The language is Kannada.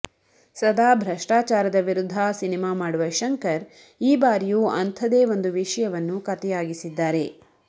ಸದಾ ಭ್ರಷ್ಟಾಚಾರದ ವಿರುದ್ಧ ಸಿನೆಮಾ ಮಾಡುವ ಶಂಕರ್ ಈ ಬಾರಿಯೂ ಅಂಥದೇ ಒಂದು ವಿಷಯವನ್ನು ಕತೆಯಾಗಿಸಿದ್ದಾರೆ